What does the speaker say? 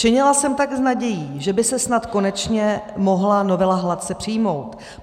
Činila jsem tak s nadějí, že by se snad konečně mohla novela hladce přijmout.